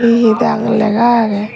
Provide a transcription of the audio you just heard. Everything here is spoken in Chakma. hi hi dang lega agey.